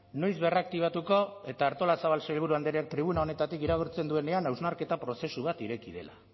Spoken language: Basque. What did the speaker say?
noiz berraktibatuko eta artolazabal sailburu andreak tribuna honetatik iragartzen duenean hausnarketa prozesu bat ireki dela